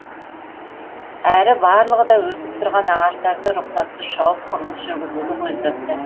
әрі барлығы да өсіп тұрған ағаштарды рұқсатсыз шауып құрылыс жүргізуді көздепті